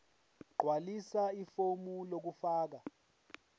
gqwalisa ifomu lokufaka